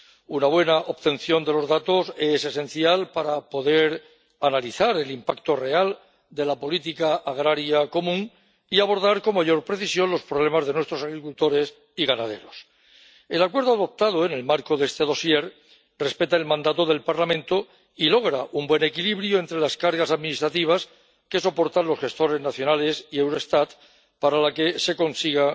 Una buena obtención de los datos es esencial para poder analizar el impacto real de la política agraria común y abordar con mayor precisión los problemas de nuestros agricultores y ganaderos. El acuerdo adoptado en el marco de este dosier respeta el mandato del Parlamento y logra un buen equilibrio entre las cargas administrativas que soportan los gestores nacionales y Eurostat, para la que se consigna